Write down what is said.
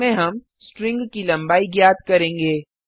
इसमें हम स्ट्रिंग की लंबाई ज्ञात करेंगे